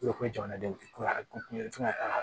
U ko ko jamanadenw ko a ko